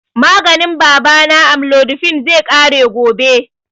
Maganin baba na, amlodipine, zai ƙare gobe